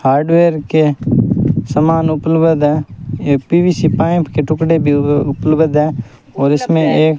hardware के समान उपलबध है ये पी_वी_सी पाईप के टुकड़े भी उपलवध है और इसमें एक --